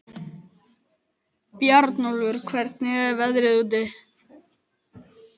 Bjarnólfur, hvernig er veðrið úti?